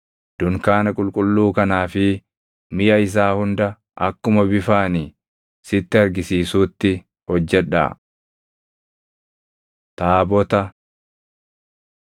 Dunkaana qulqulluu kanaa fi miʼa isaa hunda akkuma bifa ani sitti argisiisuutti hojjedhaa. Taabota 25:10‑20 kwf – Bau 37:1‑9